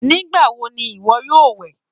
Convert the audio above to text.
Nigbawo ní iwọ yóò wẹ?